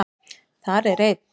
Þar er einn